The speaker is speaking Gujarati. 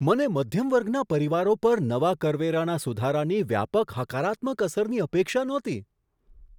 મને મધ્યમ વર્ગના પરિવારો પર નવા કરવેરાના સુધારાની વ્યાપક હકારાત્મક અસરની અપેક્ષા નહોતી.